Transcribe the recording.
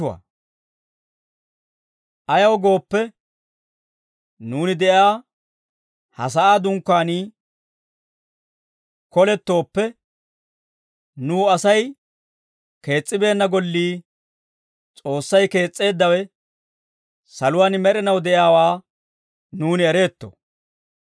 Ayaw gooppe, nuuni de'iyaa ha sa'aa dunkkaanii kolettooppe, nuw Asay kees's'ibeenna gollii, S'oossay kees's'eeddawe, saluwaan med'inaw de'iyaawaa nuuni ereetto.